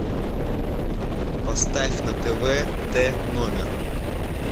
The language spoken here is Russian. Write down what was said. поставь на тв т номер